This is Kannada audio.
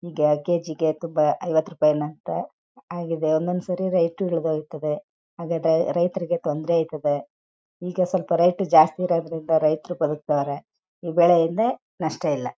ಕಾಲ್ ಕೆಜಿಗೆ ತುಂಬ ಇವತ್ತು ರೂಪಾಯಿ ನಕ್ಕ ಆಗಿದೆ ಒಂದೊಂದು ಸತಿ ರೈತರು ರೈತರಿಗೆ ತೊಂದರೆ ಇರುಥೆ ಈಗ ಸ್ವಲ್ಪ ರೈತರು ಜಾಸ್ತಿ ಇರೋದ್ರಿಂದ ರೈತರು ಬರ್ತಾರೆ ಇವುಗಳಿಂದ ನಷ್ಟ ಇಲ್ಲ.